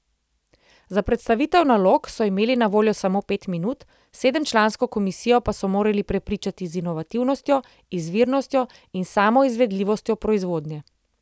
Za predstavitev nalog so imeli na voljo samo pet minut, sedemčlansko komisijo pa so morali prepričati z inovativnostjo, izvirnostjo in samo izvedljivostjo proizvodnje.